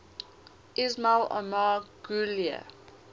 ismail omar guelleh